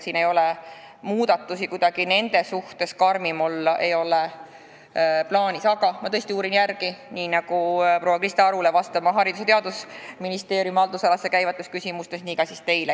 Siin ei ole muudatusi ja nende suhtes ei ole plaanis kuidagi karmim olla, aga ma uurin selle täpsemalt järele ja vastan teile nii nagu ka proua Krista Arule Haridus- ja Teadusministeeriumi haldusalasse käivate küsimuste kohta.